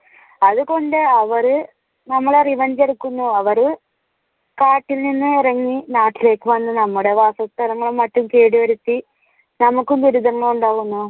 അതുകൊണ്ട് അവർ നമ്മളെ revenge എടുക്കുന്നു അവർ കാട്ടിൽ നിന്ന് ഇറങ്ങി നാട്ടിലേക്ക് വന്ന് നമ്മുടെ വാസസ്ഥലങ്ങളും മറ്റും കേടു വരുത്തി നമുക്ക് ദുരിതങ്ങൾ ഉണ്ടാകുന്നു.